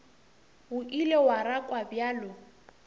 o ile wa rakwa bjalo